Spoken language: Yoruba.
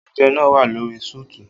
Oúnjẹ náà wà lórí sùùtù